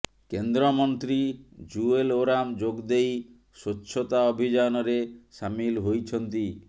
କେନ୍ଦ୍ର ମନ୍ତ୍ରୀ ଜୁଏଲ ଓରାମ ଯୋଗଦେଇ ସ୍ବଛତା ଅଭିଯାନରେ ସାମିଲ ହୋଇଛନ୍ତି